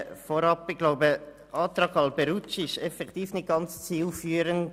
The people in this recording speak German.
Vorab: Ich glaube, der Antrag Alberucci ist effektiv nicht ganz zielführend.